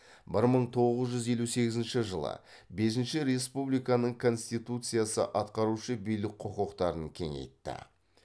бір мың тоғыз жүз елу сегізінші жылы бесінші республиканың конституциясы атқарушы билік құқықтарын кеңейтті